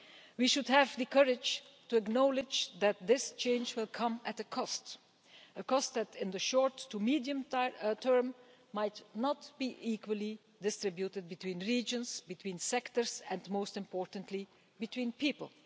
We should have the courage to acknowledge that this change will come at a cost, a cost which, in the short to medium term, might not be equally distributed between regions, between sectors or, most importantly, between people.